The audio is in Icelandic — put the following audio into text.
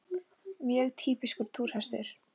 Mjög týpískur túrhestur!